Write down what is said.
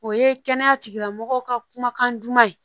O ye kɛnɛya tigilamɔgɔw ka kumakan duman ye